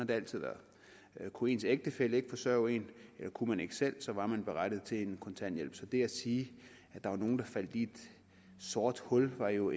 det altid været kunne ens ægtefælle ikke forsørge en eller kunne man ikke selv så var man berettiget til en kontanthjælp så det at sige at der var nogle der faldt i et sort hul er jo